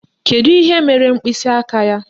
Kedu ihe mere mkpịsịaka ya?